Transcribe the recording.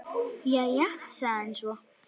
Jæja, sagði hann svo.